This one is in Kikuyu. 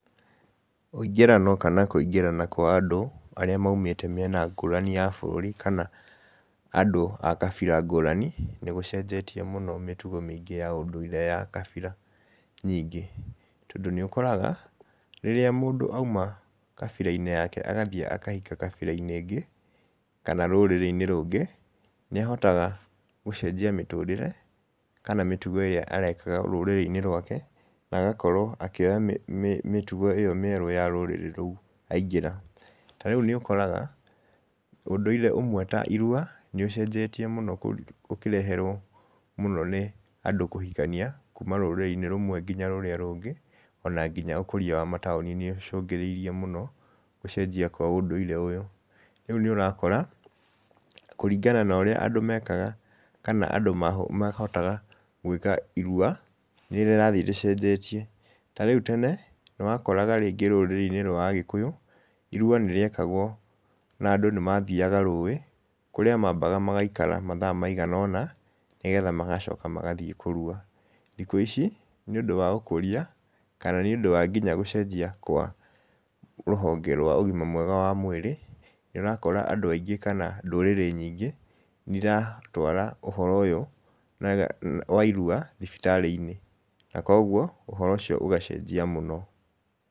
Ũingĩrano kana kũingĩrana kwa andũ, arĩa maumĩte mĩena ngũrani ya bũrũri kana andũ a kabira ngũrani, nĩ gũcenjetie mũno mĩtugo ya ũndũire ya kabira nyingĩ. Tondũ nĩ ũkoraga, rĩrĩa mũndũ auma kabira-inĩ yake athiĩ akahika kabira-inĩ ĩngĩ, kana rũrĩrĩ-inĩ rũngĩ, nĩ ahotaga gũcenjia mĩtũrĩre kana mĩtugo ĩrĩa arekaga rũrũrĩ-inĩ rwake, na agakorwo akĩoya mĩtugo ĩyo mĩerũ ya rũrĩrĩ rũu aingĩra. Tarĩu nĩũkoraga ũndũire ũmwe tairua, nĩ ũcenjetie mũno ũkĩreherwo mũno nĩ andũ kũhikania, kuuma rũrĩrĩ-inĩ rũmwe nginya rũrĩa rũngĩ, ona nginya ũkũria wa mataũni nĩ ũcũngĩrĩirie mũno gũcenjia kwa ũndũire ũyũ. Rĩũ nĩ ũrakora kũringa na ũrĩa andũ mekaga, kana andũ mahotaga gũĩka irua, nĩ rĩrathiĩ rĩcenjetie. Tarĩũ tene, nĩ wakoraga rĩngĩ rũrĩrĩ-inĩ rwa agĩkũyũ, irua nĩ rĩekagwo na andũ nĩ mathiaga rũĩ, kũrĩa mambaga magaikara mathaa maigana-ona, nĩgetha magacoka magathiĩ kũrua. Thikũ ici, nĩ ũndũ wa ũkũria, kana nĩ ũndũ wa gũcenjia kwa rũhonge rwa ũgima wa mwĩrĩ, nĩ ũrakora andũ aingĩ, kana ndũrĩrĩ nyingĩ nĩ iratwara ũhoro ũyũ wa irua thibitarĩ-inĩ, na koguo, ũhoro ũcio ũgacenjia mũno.